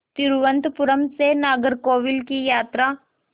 तिरुवनंतपुरम से नागरकोविल की यात्रा